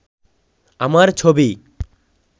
আমার ছবি